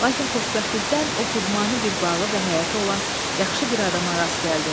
Lakin xoşbəxtlikdən o xudmani bir bağı və həyəti olan yaxşı bir adama rast gəldi.